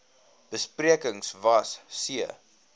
besprekings was c